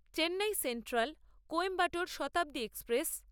Chennai central Coimbatore Shatabdi express